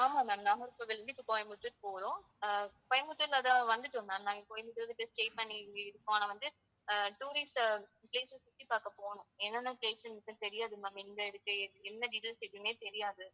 ஆமா ma'am நாகர்கோவிலிருந்து இப்ப கோயம்புத்தூர் போறோம் அஹ் கோயம்புத்தூர்ல தான் வந்துட்டோம் ma'am. நாங்க கோயம்புத்தூர் stay பண்ணி இங்க இருக்கோம் ஆனா வந்து அஹ் tourist அஹ் place அ சுத்தி பார்க்கப் போனோம் என்னென்ன place தெரியாது ma'am எங்க இருக்கு, எ~ என்ன details எதுவுமே தெரியாது